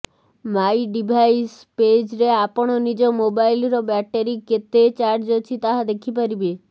ମାଇ device ପେଜ୍ରେ ଆପଣ ନିଜ ମୋବାଇଲର ବ୍ୟାଟେରୀରେ କେତେ ଚାର୍ଜ ଅଛି ତାହା ଦେଖିପାରିବେ